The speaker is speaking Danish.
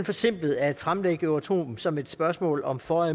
forsimplet at fremlægge euratom som et spørgsmål om for